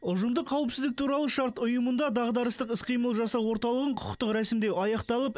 ұжымдық қауіпсіздік туралы шарт ұйымында дағдарыстық іс қимыл жасау орталығын құқықтық рәсімдеу аяқталып